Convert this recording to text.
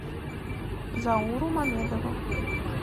зауру мамедову